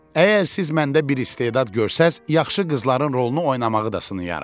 Əgər siz məndə bir istedad görsəniz, yaxşı qızların rolunu oynamağı da sınayaram.